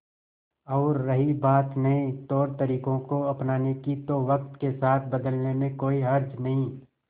और रही बात नए तौरतरीकों को अपनाने की तो वक्त के साथ बदलने में कोई हर्ज नहीं